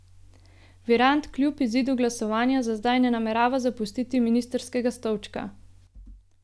Virant kljub izidu glasovanja za zdaj ne namerava zapustiti ministrskega stolčka.